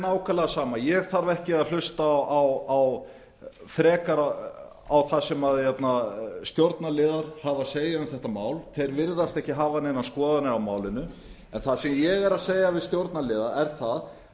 nákvæmlega sama ég þarf ekki að hlusta frekar á það sem stjórnarliðar hafa að segja um þetta mál þeir virðast ekki hafa neinar skoðanir á málinu en það sem ég er að segja við stjórnarliða er það